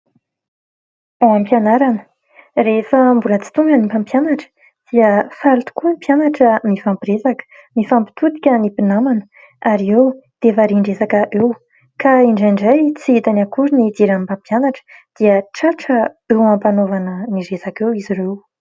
Tany am-pianarana, rehefa mbola tsy tonga ny mpampianatra dia faly tokoa ny mpianatra mifampiresaka. Mifampitodika ny mpinamana ary eo dia varian-dresaka eo ka indraindray tsy hitany akory ny idiran'ny mpampianatra dia tratra eo ampanaovana ny resaka eo izy ireo.